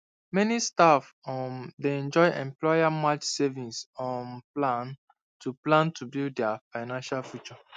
many staff um dey join employermatched savings um plan to plan to build their financial future